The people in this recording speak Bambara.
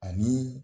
Ani